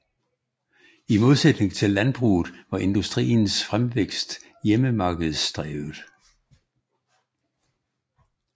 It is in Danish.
I modsætning til landbruget var industriens fremvækst hjemmemarkedsdrevet